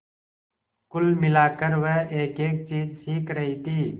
कुल मिलाकर वह एकएक चीज सीख रही थी